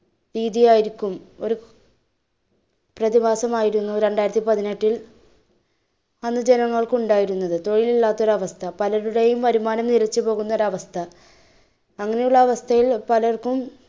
ഭീതിയായിരിക്കും. പ്രതിഭാസമായിരുന്നു രണ്ടായിരത്തി പതിനെട്ടിൽ അന്ന് ജനങ്ങൾക്ക് ഉണ്ടായിരുന്നത്. തൊഴിൽ ഇല്ലാത്തൊരു അവസ്ഥ, പലരുടെയും വരുമാനം നിലച്ചുപോവുന്നൊരു അവസ്ഥ. അങ്ങനെ ഉള്ള അവസ്ഥയിൽ പലർക്കും